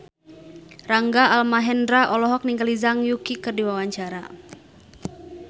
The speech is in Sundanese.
Rangga Almahendra olohok ningali Zhang Yuqi keur diwawancara